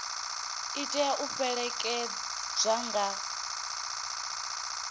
i tea u fhelekedzwa nga